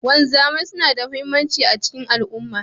Wanzamai suna da muhimmanci a cikin al'umma.